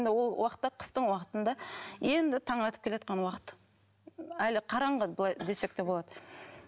ол уақытта қыстың уақытында енді таң атып келеатқан уақыт әлі қараңғы былай десек те болады